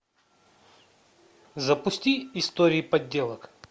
запусти истории подделок